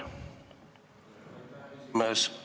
Lugupeetud aseesimees!